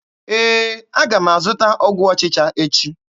Ee, aga m azụta ọgwụ ọchịcha echi.